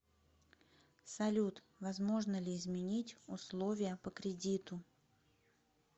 салют возможно ли изменить условия по кредиту